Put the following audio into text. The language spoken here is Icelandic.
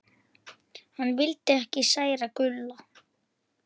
Hann vildi ekki særa Gulla.